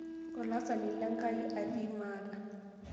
Olaasani lenkai atii maata.